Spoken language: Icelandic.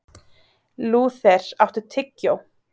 Lúther, áttu tyggjó?